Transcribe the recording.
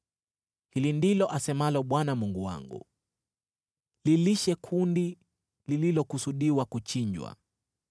Hili ndilo asemalo Bwana Mungu wangu: “Lilishe kundi lililokusudiwa kuchinjwa.